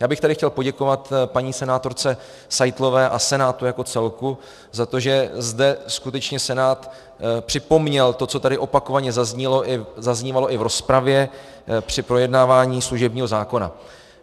Já bych tady chtěl poděkovat paní senátorce Seitlové a Senátu jako celku za to, že zde skutečně Senát připomněl to, co tady opakovaně zaznívalo i v rozpravě při projednávání služebního zákona.